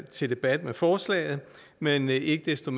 til debat med forslaget men ikke desto